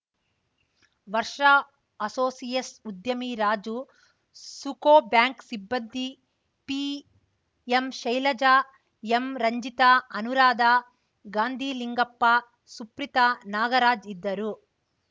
ವರ್ಷ ಅಸೋಸಿಯೇಸ್ ಉದ್ಯಮಿ ರಾಜು ಸುಕೋ ಬ್ಯಾಂಕ್‌ ಸಿಬ್ಬಂದಿ ಪಿಎಂಶೈಲಜಾ ಎಂರಂಜಿತಾ ಅನುರಾಧ ಗಾಂಧಿಲಿಂಗಪ್ಪ ಸುಪ್ರೀತಾ ನಾಗರಾಜ್‌ ಇದ್ದರು